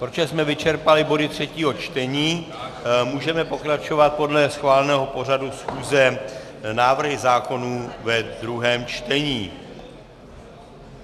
Protože jsme vyčerpali body třetího čtení, můžeme pokračovat podle schváleného pořadu schůze návrhy zákonů ve druhém čtení.